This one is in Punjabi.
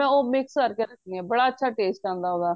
ਉਹ mix ਕਰਕੇ ਰੱਖਣੀ ਆ ਬੜਾ ਅੱਛਾ taste ਆਂਦਾ ਉਹਦਾ